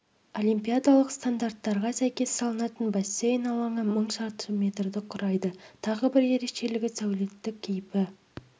олимпиадалық стандарттарға сәйкес салынатын бассейн алаңы мың шаршы метрді құрайды тағы бір ерекшелігі сәулеттік кейпі